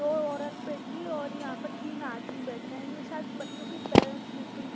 दो औरत बैठी और यहां पर तीन आदमी बैठे हैं ये शायद बच्चों की पेरेंट्स मीटिंग है।